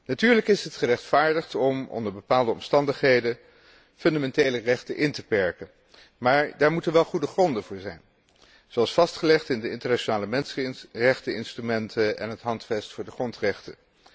Natuurlijk is het gerechtvaardigd om onder bepaalde omstandigheden fundamentele rechten in te perken, maar daar moeten wel goede gronden voor zijn, zoals vastgelegd in de internationale mensenrechteninstrumenten en het Handvest van de grondrechten.